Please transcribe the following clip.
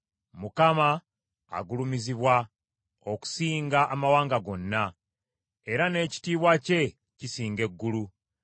Mukama agulumizibwa okusinga amawanga gonna, era n’ekitiibwa kye kisinga eggulu.